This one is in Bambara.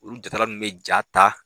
Olu jatala nunnu bɛ ja ta.